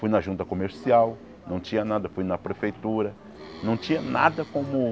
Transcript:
Fui na junta comercial, não tinha nada, fui na prefeitura, não tinha nada como